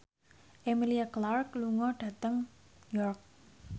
Emilia Clarke lunga dhateng York